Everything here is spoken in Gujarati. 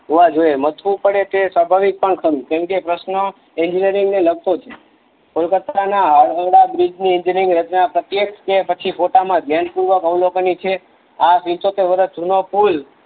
હોવા જોઈ એ મથવું પડે તે સભાવિક પણ ખરું કેમકે પ્રશ્ન એનગીનીરગ ને લગતો છે કોલકાતા ના આવેલા બ્રિજ ને એંજીન્યરિંગ રચના પ્રત્યક્ષ છે પછી પોતાના જેન પૂર્વ અવ્લોનીક છે આ પીન્ચોતેર વર્ષ જુના પુલ